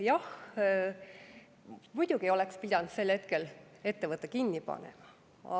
Jah, muidugi oleks pidanud sel hetkel ettevõtte kinni panema.